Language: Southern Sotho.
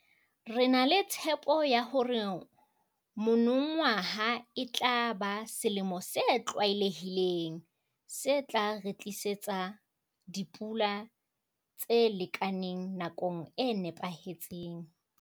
Re na le tshepo ya hore monongwaha e tla ba selemo se 'tlwaelehileng', se tla re tlisetsa dipula tse lekaneng nakong e nepahetseng.